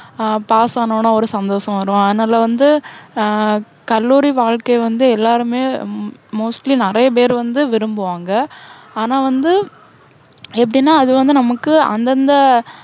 ஆஹ் pass ஆனோன்னா ஒரு சந்தோஷம் வரும், அதனால வந்து, அஹ் கல்லூரி வாழ்க்கை வந்து எல்லாருமே உம் mostly நிறைய பேரு வந்து விரும்புவாங்க. ஆனா வந்து, எப்படின்னா அது வந்து நமக்கு அந்தந்த